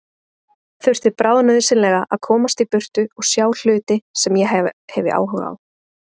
Þurfti bráðnauðsynlega að komast í burtu og sjá hluti sem ég hefi áhuga á.